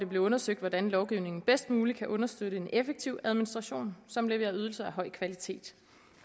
blevet undersøgt hvordan lovgivningen bedst muligt kan understøtte en effektiv administration som leverer ydelser af høj kvalitet